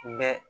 bɛ